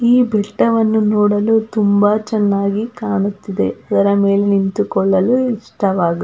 ಈ ಬೆಟ್ಟವನ್ನು ನೋಡಲು ತುಂಬಾ ಚೆನ್ನಾಗಿ ಕಾಣುತ್ತಿದೆ ಇದರ ಮೇಲೆ ನಿಂತುಕೊಳ್ಳಲು ಇಷ್ಟವಾಗುತ್ತದೆ.